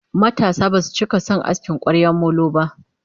matasa Basu cika San asking kwaryan molo ba